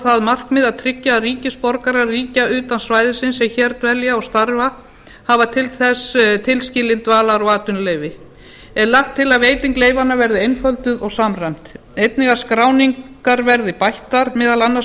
það markmið að tryggja að ríkisborgarar ríkja utan svæðisins sem hér dvelja og starfa hafi til þess tilskilin dvalar og atvinnuleyfi er lagt til að veiting leyfanna verði einfölduð og samræmd einnig að skráningar verði bættar meðal annars